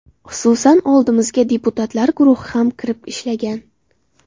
Xususan, oldimizga deputatlar guruhi ham kirib ishlagan.